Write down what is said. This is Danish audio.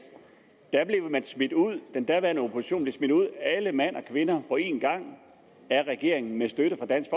der blev den daværende opposition smidt ud alle mand og kvinder på en gang af regeringen med støtte fra dansk